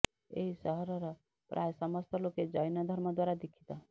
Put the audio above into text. ଏହି ସହରର ପ୍ରାୟ ସମସ୍ତ ଲୋକେ ଜୈନ ଧର୍ମ ଦ୍ୱାରା ଦିକ୍ଷୀତ